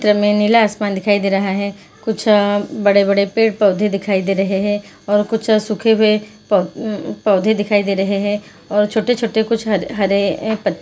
नीला आसमान दिखाई दे रहा है कुछ अ बड़े-बड़े पेड़-पोधे दिखाई दे रहें हैं और कुछ अ सूखे हुए प-पोधे दिखाई दे रहें हैं और कुछ छोटे छोटे हरे पत्ते --